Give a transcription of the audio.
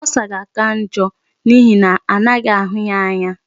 Ulcer ga-aka njọ n'ihi na anaghị ahụ ya anya.